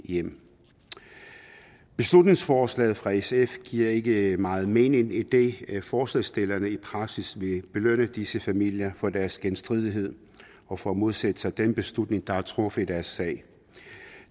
hjem beslutningsforslaget fra sf giver ikke meget mening idet forslagsstillerne i praksis vil belønne disse familier for deres genstridighed og for at modsætte sig den beslutning der er truffet i deres sag